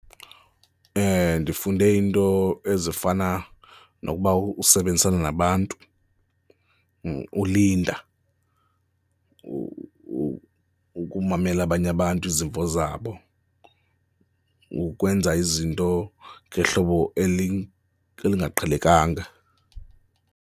Ndifunde iinto ezifana nokuba usebenzisana nabantu, ulinda, ukumamela abanye abantu, izimvo zabo, ukwenza izinto ngehlobo eli, elingaqhelekanga.